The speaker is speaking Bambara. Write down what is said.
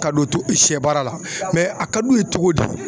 Ka don to siyɛ baara la a ka d'u ye cogo di?